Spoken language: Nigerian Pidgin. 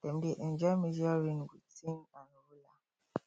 dem dey enjoy measure rain with tin and ruler